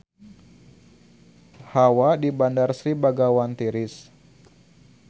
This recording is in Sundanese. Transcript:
Hawa di Bandar Sri Begawan tiris